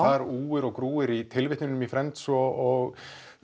þar úir og grúir í tilvintunum í Friends og